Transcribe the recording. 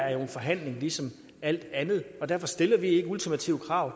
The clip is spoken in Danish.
er en forhandling ligesom alt andet og derfor stiller vi ikke ultimative krav